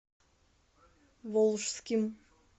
волжским